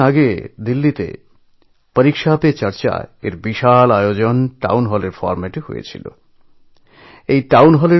কিছুদিন আগে দিল্লিতে পরীক্ষা পে চর্চা এই কার্যক্রমে টাউন হল ফরম্যাটে এক বিপুল আয়োজন হয়েছিল